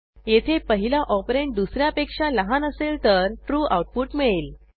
येथे पहिला ऑपरंड दुस यापेक्षा लहान असेल तरtrue आऊटपुट मिळेल